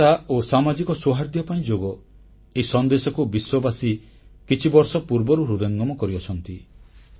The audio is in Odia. ଏକତା ଓ ସାମାଜିକ ସୌହାର୍ଦ୍ଦ୍ୟ ପାଇଁ ଯୋଗ ଏହି ସନ୍ଦେଶକୁ ବିଶ୍ୱବାସୀ କିଛିବର୍ଷ ପୂର୍ବରୁ ହୃଦୟଙ୍ଗମ କରିଅଛନ୍ତି